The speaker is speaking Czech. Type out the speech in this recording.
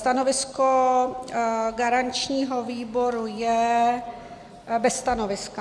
Stanovisko garančního výboru je bez stanoviska.